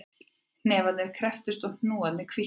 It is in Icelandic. Hnefarnir krepptust og hnúarnir hvítnuðu